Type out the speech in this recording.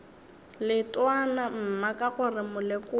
leetwana mma ka gore molekodi